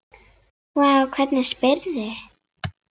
Vá, hvernig spyrðu?